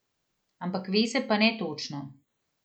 Ampak ve se pa ne točno.